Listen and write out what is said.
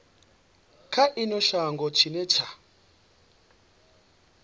kha ino shango tshine tsha